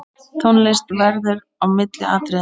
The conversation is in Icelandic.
Tónlist verður á milli atriða.